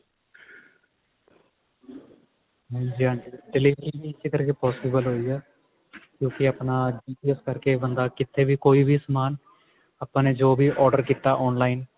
ਹਾਂਜੀ ਹਾਂਜੀ delivery ਵੀ ਇਸੇ ਕਰਕੇ possible ਹੋਈ ਆ ਤੁਸੀਂ ਆਪਣਾ GPS ਕਰਕੇ ਬੰਦਾ ਕਿੱਥੇ ਵੀ ਕੋਈ ਵੀ ਸਮਾਨ ਆਪਾਂ ਨੇ ਜੋ ਵੀ order ਕੀਤਾ online